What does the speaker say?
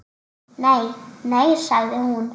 Nei, nei sagði hún.